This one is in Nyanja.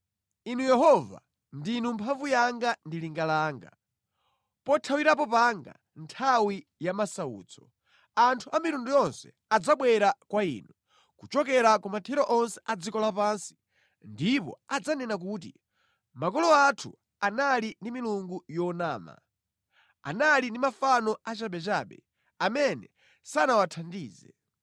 Inu Yehova, ndinu mphamvu yanga ndi linga langa, pothawirapo panga nthawi ya masautso, anthu a mitundu yonse adzabwera kwa Inu kuchokera ku mathero onse a dziko lapansi ndipo adzanena kuti, “Makolo anthu anali ndi milungu yonama, anali ndi mafano achabechabe amene sanawathandize.